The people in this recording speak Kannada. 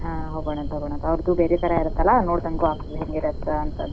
ಹಾ ಹೋಗೋಣಂತ ಹೋಗೋಣಂತ ಅವರ್ದು ಬೇರೆ ತರಾ ಇರತ್ತಲಾ ನೋಡ್ದಂಗೂ ಆಗ್ತದ ಹೆಂಗಿರತ್ತಂತ.